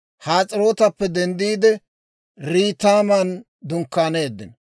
Has'erootappe denddiide, Riitiman dunkkaaneeddino.